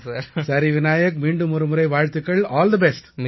சரி விநாயக் மீண்டுமொரு முறை வாழ்த்துக்கள் ஆல் தி பெஸ்ட்